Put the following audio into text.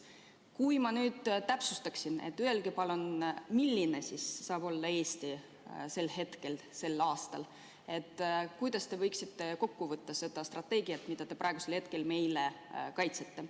Kui ma nüüd sooviksin teilt täpsustust, et öelge palun, milline saab olema Eesti 2035. aastal, siis kuidas te võtaksite kokku selle strateegia, mida te praegu meie ees kaitsete.